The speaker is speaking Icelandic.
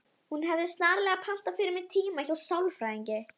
Var sérfræðingum þessum falið að afhenda